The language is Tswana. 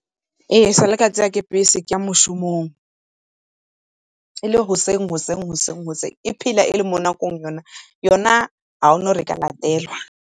Ee, sa le ka siwa ke bese ke ya moshomong e le goseng , e phela e le mo nakong yona ga gona gore e ka latelwa.